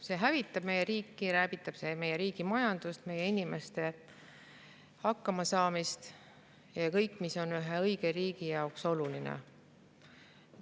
See hävitab meie riiki, meie riigi majandust, meie inimeste hakkamasaamist, kõike, mis on ühe õige riigi jaoks oluline.